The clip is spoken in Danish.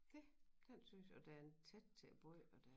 Dét den synes jeg da en tæt til båd og der